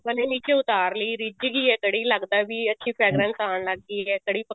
ਮੰਨਲੋ ਨੀਚੇ ਉਤਾਰ ਲਈ ਰਿੱਝ ਗਈ ਹੈ ਕੜ੍ਹੀ ਲੱਗਦਾ ਵੀ fragranceਆਉਣ ਲੱਗ ਗਈ ਹੈ ਕੜ੍ਹੀ